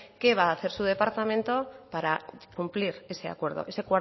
su departamento para cumplir ese acuerdo ese